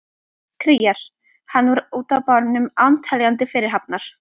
Kríar hann út á barnum án teljandi fyrirhafnar.